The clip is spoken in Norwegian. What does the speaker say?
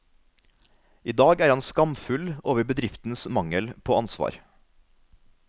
I dag er han skamfull over bedriftens mangel på ansvar.